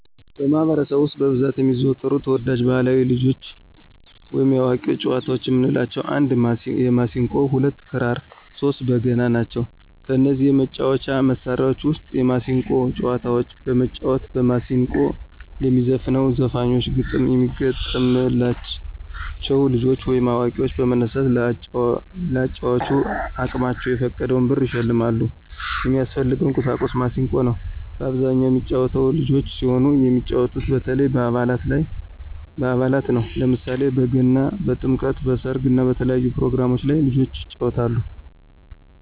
በማህበረሰቡ ውስጥ በብዛት የሚዘወተሩ ተወዳጅ ባህላዊ የልጆች ወይም የአዋቂዎች ጨዋታዎች የምንላቸው 1 የማሲንቆ 2 ክራር 3 በገና ናቸው። ከነዚህ የመጫወቻ መሣሪያዎች ውስጥ የማሲንቆን ጨዋታዎች በመጫወት በማስንቆ ለሚዘፍነው ዘፋኞች ግጥም የሚገጠምላ ልጆች ወይም አዋቂዎች በመነሳት ለአጫዋቹ አቅማቸውን የፈቀደውን ብር ይሸልማሉ። የሚያስፈልገው ቁሳቁስ ማሲንቆ ነው። በአብዛኛው የሚጫወተው ልጆች ሲሆኑ የሚጫወቱት በተለያዩ በአላት ነው። ለምሳሌ በገና፣ በጥምቀት፣ በሰርግ እና በተለያዩ ፕሮግራሞች ላይ ልጆች ይጫወታሉ።